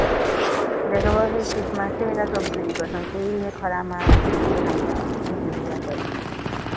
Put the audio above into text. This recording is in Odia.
ଦେଖିଆବଶ ଏଇ ଶୀତ ମାସେ କେ ଭୋଜି କରୁଛନ କେହି କେଇ ସେ ଖରା ମାସ ରେ ନାଇଁ ଯାଉଛେ ଭୋଜି ଭୁଜା କରି